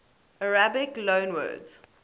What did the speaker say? arabic loanwords